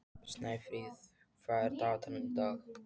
Snæfríð, hvað er á dagatalinu í dag?